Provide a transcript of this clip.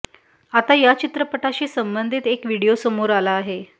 आता या चित्रपटाशी संबंधित एक व्हिडिओ समोर आला आहे